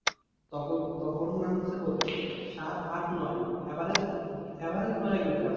তখন তখন নামছে কত? সাত আট নয় average average নয়ের ভিতরে।